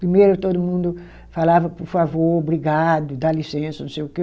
Primeiro, todo mundo falava, por favor, obrigado, dá licença, não sei o quê.